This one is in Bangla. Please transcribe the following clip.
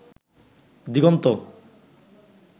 দিগন্ত